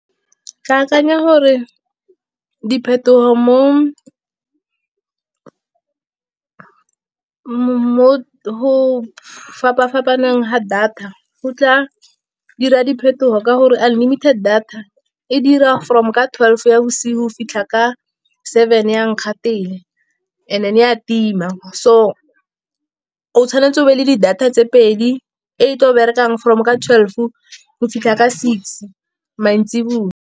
Ke akanya gore diphetogo mo go fapa-fapaneng ga data go tla dira diphetogo. Ka gore unlimited data e dira from ka twelve ya bosigo go fitlha ka seven ya nkgatele, and then ya tima so o tshwanetse o be le di data tse pedi, e tla berekang from ka twelve go fitlha ka six mantsiboa.